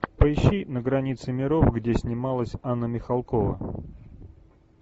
поищи на границе миров где снималась анна михалкова